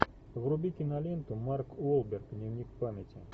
вруби киноленту марк уолберг дневник памяти